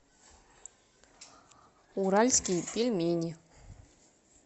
уральские пельмени